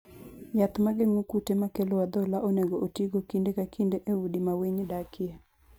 Yath ma geng'o kute makelo adhola onego otigo kinde ka kinde e udi ma winy dakie.